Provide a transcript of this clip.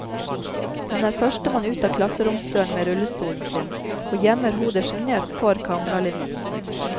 Hun er førstemann ut av klasseromsdøren med rullestolen sin, og gjemmer hodet sjenert for kameralinsen.